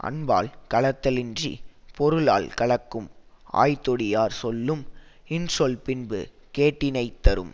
அன்பால் கலத்தலின்றிப் பொருளால் கலக்கும் ஆய்தொடியார் சொல்லும் இன்சொல் பின்பு கேட்டினைத் தரும்